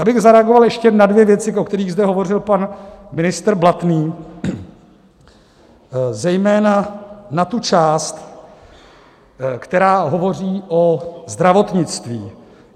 Já bych zareagoval ještě na dvě věci, o kterých zde hovořil pan ministr Blatný, zejména na tu část, která hovoří o zdravotnictví.